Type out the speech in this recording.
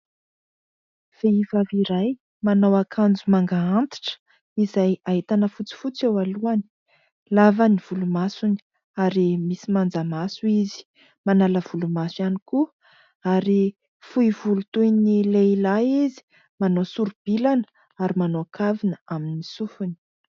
Vehivavy iray manao akanjo manga antitra izay ahitana fotsifotsy eo alohany. Lava ny volomasony ary misy manjamaso izy. manala volomaso ihany koa ary fohy volo toy ny lehilahy izy, manao sori-bilana ary manao kavina aminy sofina.